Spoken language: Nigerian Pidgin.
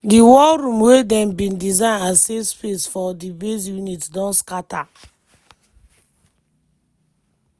di war room wey dem bin design as safe space for di base units don scata.